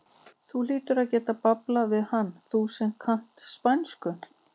Þú hlýtur að geta bablað við hann, þú sem kannt spænsku!